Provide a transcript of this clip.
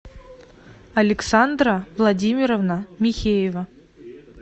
александра владимировна михеева